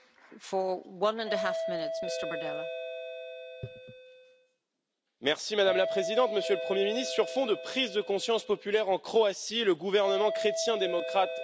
Madame la Présidente, Monsieur le Premier ministre, sur fond de prise de conscience populaire en Croatie, le gouvernement chrétien démocrate croate entre donc en fonction dans le cadre de la présidence tournante du Conseil de l'Union.